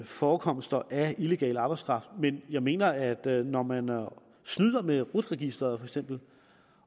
forekomster af illegal arbejdskraft men jeg mener at der når man snyder med rut registeret for eksempel